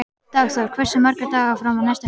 Dagþór, hversu margir dagar fram að næsta fríi?